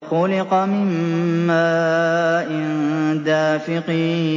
خُلِقَ مِن مَّاءٍ دَافِقٍ